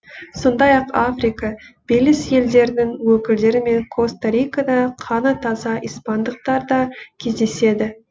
сондай ақ африка белиз елдерінің өкілдері мен коста рикада қаны таза испандықтар да кездеседі